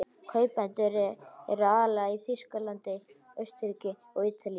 Kaupendur eru aðallega í Þýskalandi, Austurríki, Ítalíu